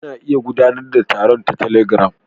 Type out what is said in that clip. Ana iya gudanar da taron ta telegram.